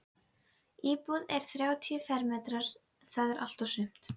Íbúðin er þrjátíu fermetrar- það er allt og sumt.